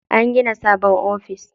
An gina sabon office.